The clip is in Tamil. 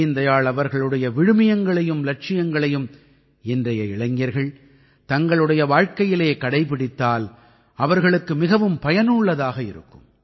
தீன் தயாள் அவர்களுடைய விழுமியங்களையும் இலட்சியங்களையும் இன்றைய இளைஞர்கள் தங்களுடைய வாழ்க்கையிலே கடைப்பிடித்தால் அவர்களுக்கு மிகவும் பயனுள்ளதாக இருக்கும்